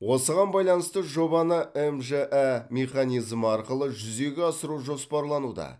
осыған байланысты жобаны мжә механизмі арқылы жүзеге асыру жоспарлануда